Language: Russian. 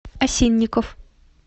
осинников